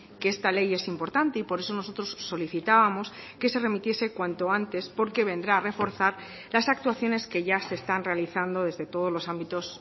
que esta ley es importante y por eso nosotros solicitábamos que se remitiese cuanto antes porque vendrá a reforzar las actuaciones que ya se están realizando desde todos los ámbitos